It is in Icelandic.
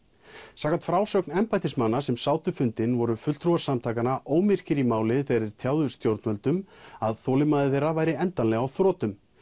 samkvæmt frásögn embættismanna sem sátu fundinn voru fulltrúar samtakanna í máli þegar þeir tjáðu stjórnvöldum að þolinmæði þeirra væri endanlega á þrotum